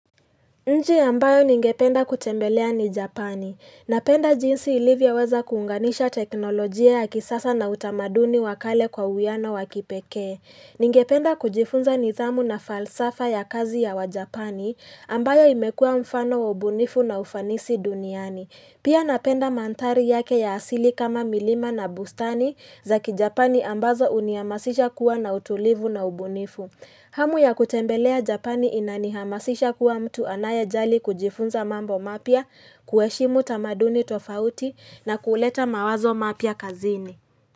Nchi ambayo ningependa kutembelea ni Japani. Napenda jinsi ilivyoweza kuunganisha teknolojia ya kisasa na utamaduni wa kale kwa uwiano wa kipekee. Ningependa kujifunza nidhamu na falsafa ya kazi ya wajapani ambayo imekuwa mfano wa ubunifu na ufanisi duniani. Pia napenda mandhari yake ya asili kama milima na bustani za kijapani ambazo huniamasisha kuwa na utulivu na ubunifu. Hamu ya kutembelea Japani inanihamasisha kuwa mtu anayejali kujifunza mambo mapya, kuheshimu tamaduni tofauti na kuuleta mawazo mapya kazini.